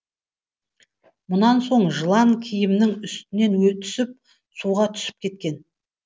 мұнан соң жылан киімнің үстінен түсіп суға түсіп кеткен